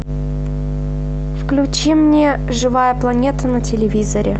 включи мне живая планета на телевизоре